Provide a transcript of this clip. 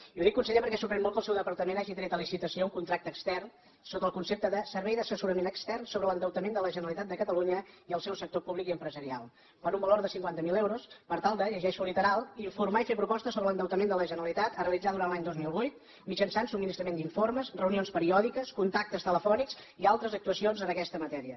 i ho dic conseller perquè sorprèn molt que el seu departament hagi tret a licitació un contracte extern sota el concepte de servei d’assessorament extern sobre l’endeutament de la generalitat de catalunya i el seu sector públic i empresarial per un valor de cinquanta miler euros per tal de ho llegeixo literal informar i fer propostes sobre l’endeutament de la generalitat a realitzar durant l’any dos mil vuit mitjançant subministrament d’informes reunions periòdiques contactes telefònics i altres actuacions en aquesta matèria